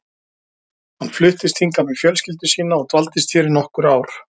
Hann fluttist hingað með fjölskyldu sína og dvaldist hér í nokkur ár.